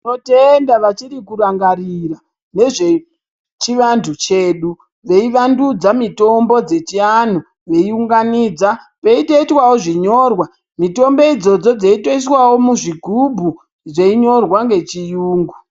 Tinotenda vachiri kurangarira nezvechivantu chedu veivandidza mitombo dzechianhu veiunganidza peitoitwawo zvinyorwa mitombo idzodzo dzeitoiswawo muzvigubhu zveinyorwa ngechiyungu